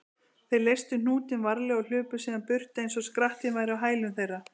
Þeir leystu hnútinn varlega og hlupu síðan burt eins og skrattinn væri á hælum þeirra.